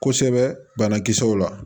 Kosɛbɛ banakisɛw la